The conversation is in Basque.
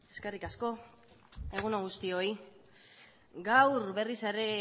eskerrik asko egun on guztioi gaur berriz ere